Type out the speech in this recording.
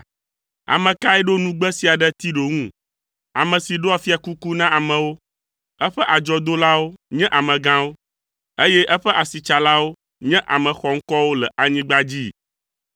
Ame kae ɖo nugbe sia ɖe Tiro ŋu, ame si ɖɔa fiakuku na amewo, eƒe adzɔdolawo nye amegãwo, eye eƒe asitsalawo nye ame xɔŋkɔwo le anyigba dzii?